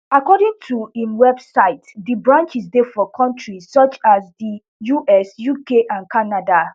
according to imwebsite di branches dey for kontris such as di us uk and canada